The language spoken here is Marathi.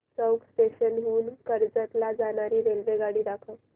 चौक स्टेशन हून कर्जत ला जाणारी रेल्वेगाडी दाखव